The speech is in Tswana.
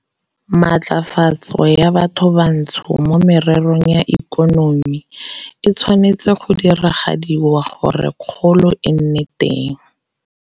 Matlafatso ya bathobantsho mo mererong ya ikonomi e tshwanetswe go diragadiwa gore kgolo e nne teng